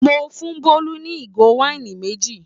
Mo fún Bólú ní ìgò wáìnì méjì.